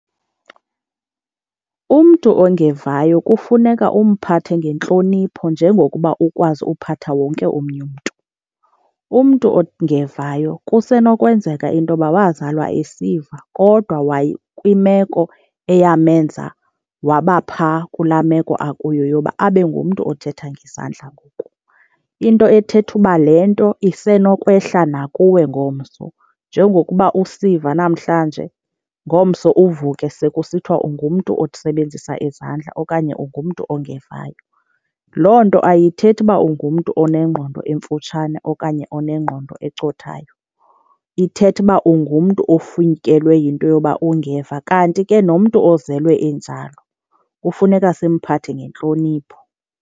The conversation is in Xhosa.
Umntu ongevayo kufuneka umphathe ngentlonipho njengokuba ukwazi uphatha wonke omnye umntu. Umntu ongevayo kusenokwenzeka into yoba wazalwa esiva kodwa kwimeko eyamenza waba phaa kulaa meko akuyo yoba abe ngumntu othetha ngezandla ngoku. Into ethetha uba le nto isenokwehla nakuwe ngomso, njengokuba usiva namhlanje ngomso uvuke sekusithiwa ungumntu osebenzisa izandla okanye ungumntu ongevayo. Loo nto ayithethi uba ungumntu onengqondo emfutshane okanye onengqondo ecothayo, ithetha uba ungumntu ofikelwe yinto yoba ungeva. Kanti ke nomntu ozelwe enjalo kufuneka simphathe ngentlonipho.